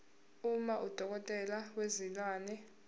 uma udokotela wezilwane